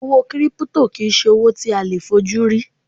Owó 'Kírípútò' kì í se owó tí a leè fojú rí